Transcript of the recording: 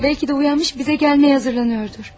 Bəlkə də oyanmış, bizə gəlməyə hazırlaşır.